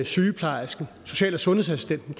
sygeplejersken social og sundhedsassistenten